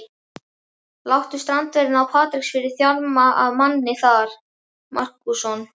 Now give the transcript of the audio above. Láttu strandverðina á Patreksfirði þjarma að manni þar, Markússon.